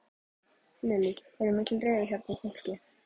Lillý: Er mikil reiði hérna í fólki?